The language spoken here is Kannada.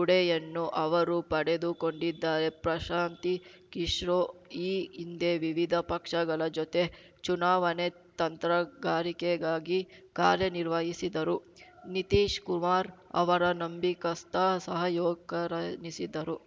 ಉಡೆಯನ್ನು ಅವರು ಪಡೆದುಕೊಂಡಿದ್ದಾರೆ ಪ್ರಶಾಂತಿ ಕಿಶೋ ಈ ಹಿಂದೆ ವಿವಿಧ ಪಕ್ಷಗಳ ಜೊತೆ ಚುನಾವಣೆ ತಂತ್ರಗಾರಿಕೆಗಾಗಿ ಕಾರ್ಯನಿರ್ವಹಿಸಿದ್ದರೂ ನಿತೀಶ್‌ ಕುಮಾರ್‌ ಅವರ ನಂಬಿಕಸ್ತ ಸಹಾಯೋಕರೆನಿಸಿದರು